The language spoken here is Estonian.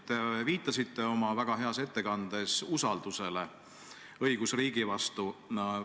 Te viitasite oma väga heas ettekandes usaldusele õigusriigi vastu.